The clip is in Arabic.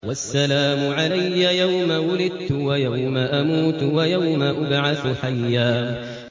وَالسَّلَامُ عَلَيَّ يَوْمَ وُلِدتُّ وَيَوْمَ أَمُوتُ وَيَوْمَ أُبْعَثُ حَيًّا